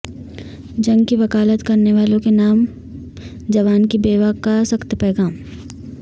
جنگ کی وکالت کرنے والوں کے نام جوان کی بیوہ کا سخت پیغام